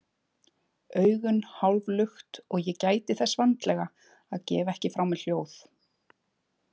Augun hálflukt og ég gæti þess vandlega að gefa ekki frá mér hljóð.